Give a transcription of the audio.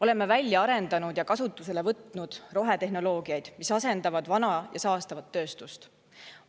Oleme välja arendanud ja kasutusele võtnud rohetehnoloogiaid, mis asendavad vana ja saastavat tööstust.